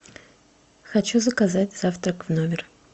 хочу заказать завтрак в номер